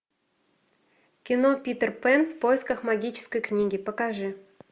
кино питер пэн в поисках магической книги покажи